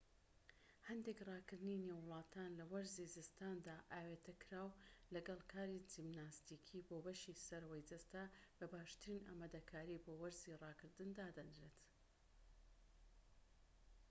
هەندێک ڕاكردنی نێو وڵاتان لە وەرزی زستاندا ئاوێتەکراو لەگەڵ کاری جیمناستیکی بۆ بەشی سەرەوەی جەستە بە باشترین ئامادەکاری بۆ وەرزی ڕاکردن دادەنرێت